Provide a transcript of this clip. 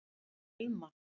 Elma